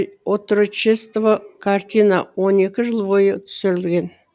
отрочество картина он екі жыл бойы түсірілген